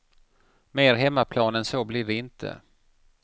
Mer hemmaplan än så blir det inte.